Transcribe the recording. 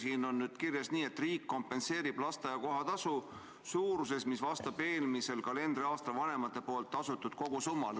Siin on kirjas: riik kompenseerib lasteaia kohatasu suuruses, mis vastab eelmisel kalendriaastal vanemate poolt tasutud kogusummale.